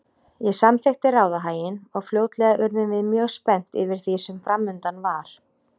Ég samþykkti ráðahaginn og fljótlega urðum við mjög spennt yfir því sem framundan var.